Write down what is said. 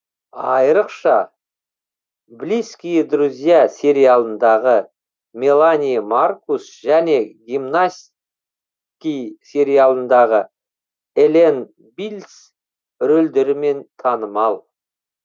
айырықша близкие друзья сериалындағы мелани маркус және гимнаски сериалындағы эллен биллс рөлдерімен танымал